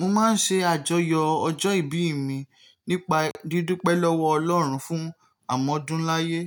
Mo máa ń ṣe àjọyọ̀ ọjọ́ ìbí mi nípa dídúpẹ́ lọ́wọ́ Ọlọ́run fún àmọ́dúnláyé.